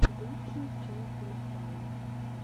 лучшая часть лопалу